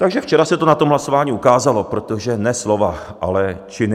Takže včera se to na tom hlasování ukázalo, protože ne slova, ale činy.